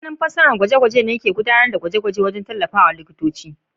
Masanin fasarar gwaje-gwaje na gudanar da gwaje-gwajenda ke tallafawa likitoci.